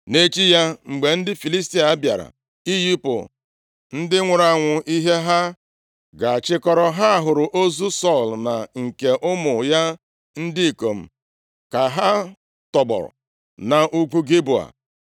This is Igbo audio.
Nʼechi ya, mgbe ndị Filistia bịara iyipụ ndị nwụrụ anwụ ihe ha ga-achịkọrọ, ha hụrụ ozu Sọl na nke ụmụ ya ndị ikom ka ha tọgbọ nʼugwu Gilboa.